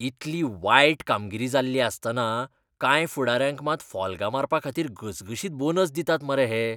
इतली वायट कामगिरी जाल्ली आसतना कांय फुडाऱ्यांक मात फॉल्गां मारपाखातीर घसघशीत बोनस दितात मरे हे.